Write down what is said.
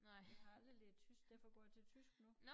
Jeg har aldrig lært tysk derfor går jeg til tysk nu